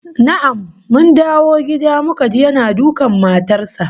Na'am, mun dawo gida muka ji yana dukan matar sa